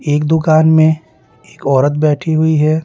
एक दुकान में एक औरत बैठी हुई है।